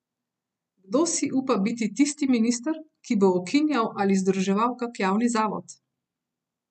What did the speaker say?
Kdo si upa biti tisti minister, ki bo ukinjal ali združeval kak javni zavod?